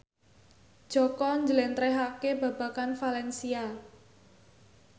Jaka njlentrehake babagan valencia